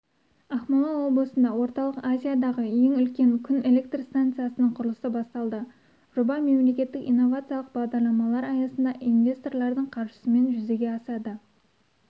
ақмола облысында орталық азиядағы ең үлкен күн электр станциясының құрылысы басталды жоба мемлекеттік инновациялық бағдарламалар аясында инвесторлардың қаржысымен жүзеге асады